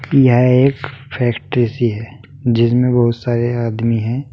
यह एक फैक्ट्री सी है जिसमें बहुत सारे आदमी हैं।